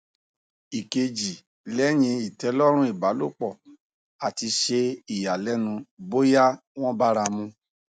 ikeji leyin itelorun ibalopo ati se iyalenu boya won bara mu